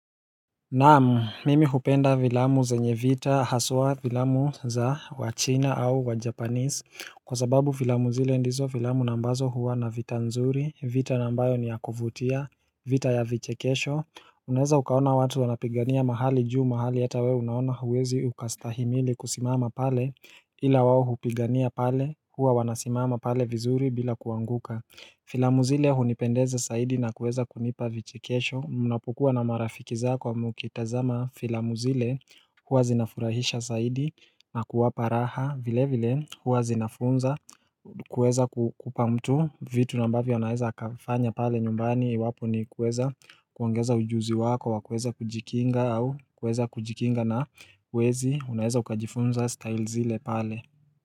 Naamu, mimi hupenda vilamu zenye vita, haswa vilamu za wa China au wa Japanese Kwa sababu vilamu zile ndizo vilamu nambazo huwa na vita nzuri, vita nambayo ni ya kufutia, vita ya vichekesho Unaweza ukaona watu wanapigania mahali juu mahali yata we unaona uwezi ukastahimili kusimama pale Ila wawo hupigania pale, huwa wanasimama pale vizuri bila kuanguka Filamu zile hunipendeza saidi na kuweza kunipa vichekesho Munapukua na marafikiza kwa mukitazama filamu zile huwa zinafurahisha saidi na kuwapa raha vile vile huwa zinafunza kuweza kupamtu vitu nambavya unaeza kafanya pale nyumbani Wapo ni kuweza kuongeza ujuzi wako wa kuweza kujikinga au kuweza kujikinga na wezi unaeza ukajifunza style zile pale.